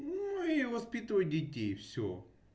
нуу и воспитывать детей все